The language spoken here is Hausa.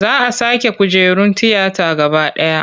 Za a sake kujerun tiyata gaba ɗaya.